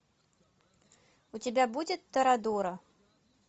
у тебя будет торадора